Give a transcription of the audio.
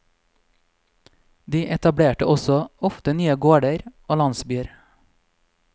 De etablerte også ofte nye gårder og landsbyer.